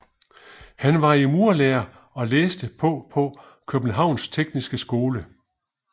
Han var i murerlære og læste på på Københavns Tekniske Skole